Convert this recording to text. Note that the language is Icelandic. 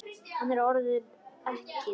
Hann er orðinn ekkill.